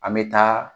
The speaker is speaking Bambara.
An bɛ taa